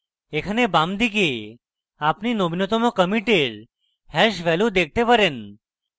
এখানে বামদিকে আপনি নবীনতম কমিটের hash value দেখতে পারেন